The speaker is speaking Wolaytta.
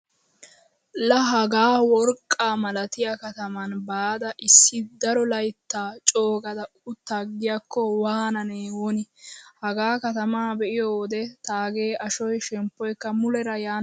Laa hagaa worqqaa malatiya kataman baada issi daro layttaa coogada uttaagiyaakko waanane woni. Hagaa katamaa be'iyo wode taage ashoy shemppoykka muleera yaani dees.